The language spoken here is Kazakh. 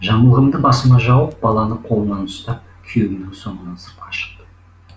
жамылғымды басыма жауып баланы қолынан ұстап күйеуімнің соңынан сыртқа шықтым